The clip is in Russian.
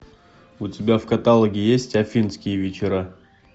у тебя в каталоге есть афинские вечера